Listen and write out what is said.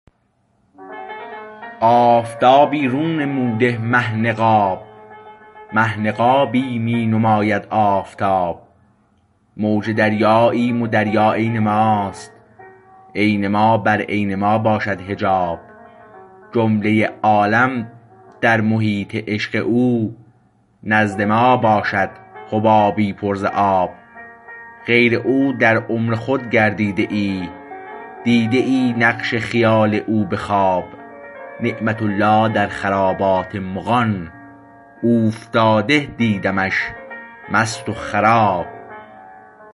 آفتابی رو نموده مه نقاب مه نقابی می نماید آفتاب موج دریاییم و دریا عین ماست عین ما بر عین ما باشد حجاب جمله عالم در محیط عشق او نزد ما باشد حبابی پر ز آب غیر او در عمر خود گردیده ای دیده ای نقش خیال او به خواب نعمت الله در خرابات مغان اوفتاده دیدمش مست و خراب